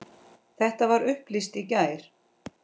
Þetta var upplýst í gær.